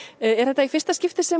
er þetta í fyrsta skipti sem